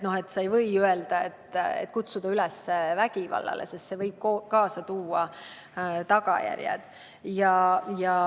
Sa ei või kutsuda üles vägivallale, sest see võib kaasa tuua tagajärjed.